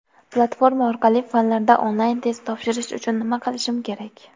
Platforma orqali fanlardan onlayn test topshirish uchun nima qilishim kerak?.